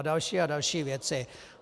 A další a další věci.